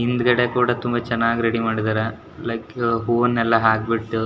ಹಿಂದುಗಡೆ ಕೂಡ ತುಂಬಾ ಚೆನ್ನಾಗಿ ರೆಡಿ ಮಾಡಿದಾರೆ ಲೈಕ್ ಹೂವನ್ನೆಲ್ಲ ಹಾಕೆಬಿಟ್ಟು --